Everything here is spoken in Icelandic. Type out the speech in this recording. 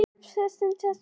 Svafstu hjá portkonu?